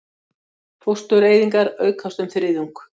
Fóstureyðingar aukast um þriðjung